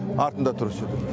артында тұр осы жерде